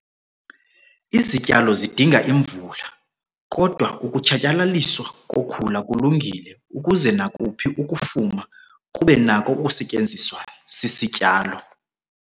Izityalo zidinga imvula, kodwa ukutshatyalaliswa kokhula kulungile ukuze nakuphi ukufuma kube nako ukusetyenziswa sisityalo.